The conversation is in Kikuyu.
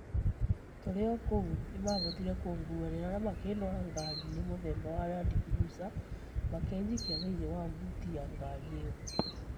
Turĩ kũu nĩmahotĩre kũnguanĩra na makĩndwara ngaari inĩ muthemba wa landcruiser makĩjikia thĩĩnĩĩ wa buti ya ngari ĩo.